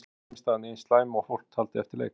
Var frammistaðan eins slæm og fólk taldi eftir leik?